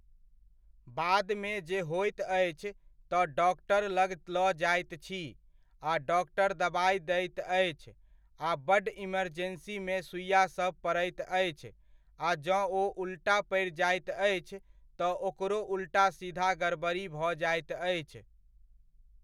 बादमे जे होइत अछि तऽ डॉक्टर लग लऽ जाइत छी आ डॉक्टर दबाइ दैत अछि, आ बड्ड इमर्जेन्सीमे सुइआ सब पड़ैत अछि, आ जँ ओ उलटा पड़ि जाइत अछि, तऽ ओकरो उलटा सीधा गड़बड़ी भऽ जाइत अछि।